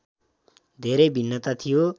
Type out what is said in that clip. धेरै भिन्नता थियो